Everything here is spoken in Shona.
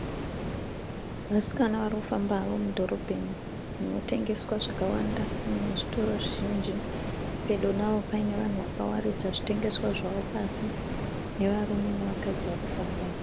Vasikana vari kufamba havo mudhorobheni munotengeswa zvakawanda muine zvitoro zvizhinji. Pedo navo paine vanhu vakawaridza zvitengeswa zvavo pasi nevarume nevakadzi vari kufamba.